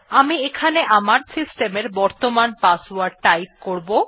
আমি এখানে আমার সিস্টেম এর বর্তমান পাসওয়ার্ড টাইপ করব